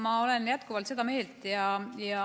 Ma olen jätkuvalt seda meelt.